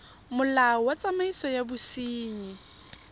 molao wa tsamaiso ya bosenyi